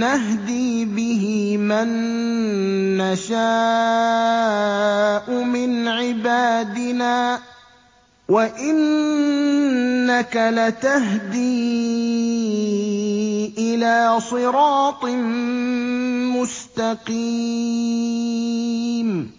نَّهْدِي بِهِ مَن نَّشَاءُ مِنْ عِبَادِنَا ۚ وَإِنَّكَ لَتَهْدِي إِلَىٰ صِرَاطٍ مُّسْتَقِيمٍ